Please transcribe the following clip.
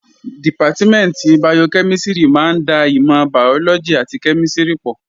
Dìpátímẹ̀ntì bayokẹ́mísìrì máa ń da ìmọ̀ bàyọ́lọ́gì àti kẹ́mísìrì pọ̀